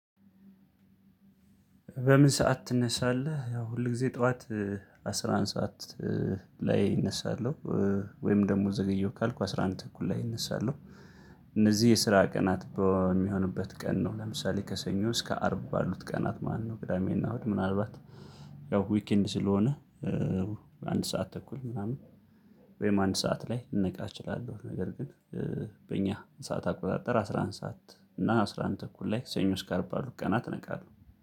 በምን? ሰዓት ትነሳለህ ያው ሁል ጊዜ ጠዋት አስራ አንድ ሰዓት ላይ እነሳለሁ። ወይም ደግሞ ዘገየሁ ካልኩ አስራ አንድ ተኩል ላይ እነሳለሁ። እነዚህ የስራ ቀናት በሚሆንበት ቀን ነው። ለምሳሌ ከሰኞ እስከ አርብ ባሉት ቀናት ማለት ነው ቅዳሜና እሁድ ምናልባት ያው ዊክ ኤንድ ስለሆነ። አንድ ሰዓት ተኩል ምናምን ወይም አንድ ሰዓት ላይ ልነቃ እችላለሁ። ነገር ግን በእኛ ሰዓት አቆጣጠር አስራ አንድ ሰዓት እና አስራ አንድ ተኩል ላይ ሰኞ እስከ አርብ ባሉ ቀናት እነቃለሁ